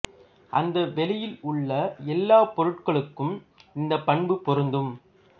அந்த வெளியில் உள்ள எல்லா பொருட்களுக்கும் இந்த பண்பு பொருந்தும்